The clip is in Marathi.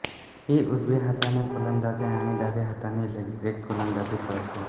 ही उजव्या हाताने फलंदाजी आणि डाव्या हाताने लेगब्रेक गोलंदाजी करते